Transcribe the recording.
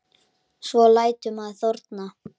Svo lætur maður þorna.